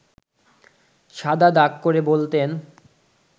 শাদা দাগ করে বলতেন